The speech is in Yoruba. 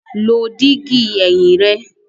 Lo digi ẹhin rẹ!